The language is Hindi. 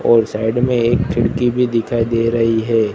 और साइड में एक खिड़की भी दिखाई दे रही है।